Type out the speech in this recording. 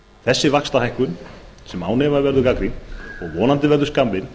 þessi vaxtahækkun sem án efa verður gagnrýnd og vonandi verður skammvinn